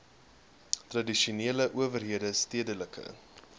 tradisionele owerhede stedelike